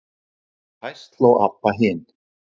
Og hæst hló Abba hin.